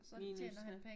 Så tjener han penge